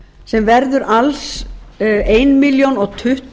sem verður alls eina milljón tuttugu